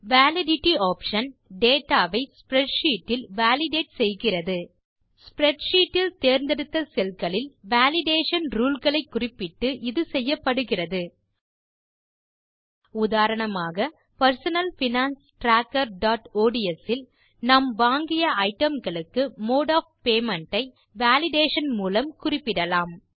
validity option data வை spreadsheet இல் validate செய்கிறது spreadsheetஇல் தேர்ந்தெடுத்த cellகளில் வேலிடேஷன் ரூல் களை குறிப்பிட்டு இது செய்யப்படுகிறது உதாரணமாக personal finance trackerஒட்ஸ் இல் நாம் வாங்கிய ஐட்டம் களுக்கு மோடு ஒஃப் பேமெண்ட் ஐ வேலிடேஷன் மூலம் குறிப்பிடலாம்